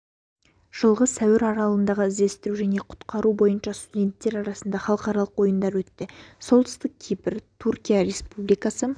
жылғы сәуір аралығында іздестіру және құтқару бойынша студенттер арасында халықаралық ойындар өтті солтүстік кипр түркия республикасы